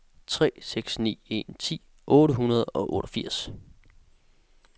tre seks ni en ti otte hundrede og otteogfirs